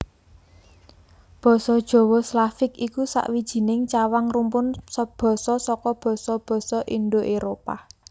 Basa basa Slavik iku sawijining cawang rumpun basa saka basa basa Indo Éropah